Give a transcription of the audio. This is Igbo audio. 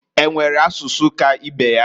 E nwere asụsụ ka ibe ya?